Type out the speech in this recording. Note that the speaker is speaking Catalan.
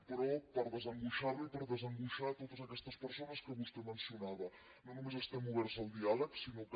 però per desangoixar lo i per desangoixar a totes aquestes persones que vostè mencionava no només estem oberts al diàleg sinó que